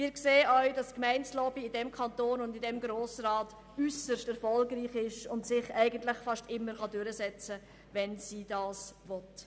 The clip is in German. Wir sehen auch, dass die Gemeindelobby in diesem Kanton und in diesem Grossen Rat äusserst erfolgreich ist und sich fast immer durchsetzen kann, wenn sie das will.